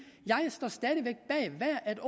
at